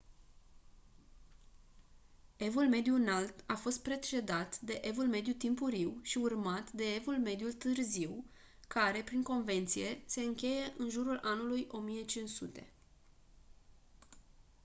evul mediu înalt a fost precedat de evul mediu timpuriu și urmat de evul mediu târziu care prin convenție se încheie în jurul anului 1500